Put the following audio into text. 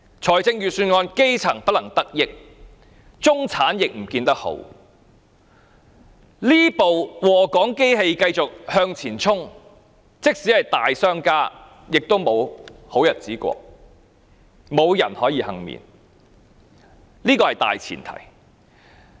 在這份預算案之下，基層不能得益，中產亦不見得好，這部禍港機器繼續向前衝，即使是大商家也沒有好日子過，無人可以倖免，這是大前提。